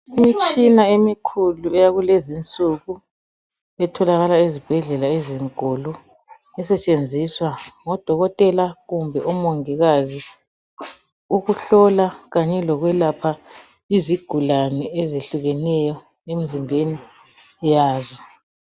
Imitshina emikhulu eyakulezinsuku etholakala ezibhedlela ezinkulu esetshenziswa ngodokotela kumbe omongikazi ukuhlola kanye lokwelapha izigulane ezehlukeneyo emzimbeni yazo.